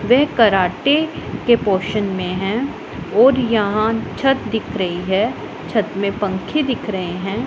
वे karate के portion में है और यहां छत दिख रही है छत में पंखे दिख रहे हैं।